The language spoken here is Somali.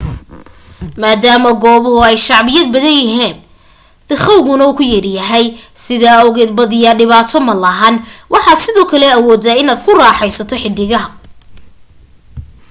maadaama goobahu ay shacbiyad badanyihiin dikhawguna ku yaryahay sidaa awgeed badiyaa dhibaato malahan waxaad sidoo kale awoodaa inaad ku raaxaysato xidigaha